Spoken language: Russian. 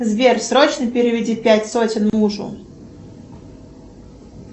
сбер срочно переведи пять сотен мужу